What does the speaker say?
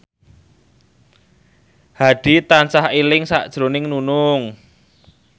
Hadi tansah eling sakjroning Nunung